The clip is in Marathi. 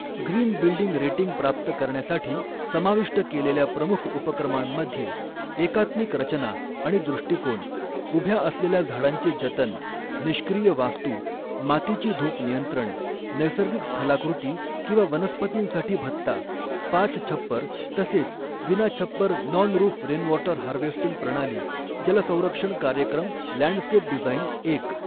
ग्रीन बिल्डिंग रेटिंग प्राप्त करण्यासाठी समाविष्ट केलेल्या प्रमुख उपक्रमांमध्ये एकात्मिक रचना आणि दृष्टीकोन, उभ्या असलेल्या झाडांचे जतन, निष्क्रिय वास्तू, मातीची धूप नियंत्रण, नैसर्गिक स्थलाकृति किंवा वनस्पतींसाठी भत्ता, पाच छप्पर तसेच विनाछप्पर नॉन रूफ रेनवॉटर हार्वेस्टिंग प्रणाली, जल संरक्षण कार्यक्रम लँडस्केप डिझाइन, एक.